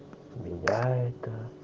я это